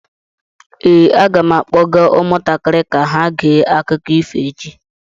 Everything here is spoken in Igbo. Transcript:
Ee, aga m akpọga ụmụntakịrị ka ha gee akụkọ ifo echi.